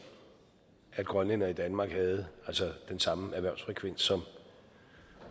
at grønlændere i danmark havde den samme erhvervsfrekvens